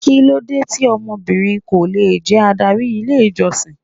Kí ló dé tí obìnrin ko lè jẹ́ adárí ilé ìjọsìn?